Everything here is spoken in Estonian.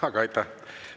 Aga aitäh!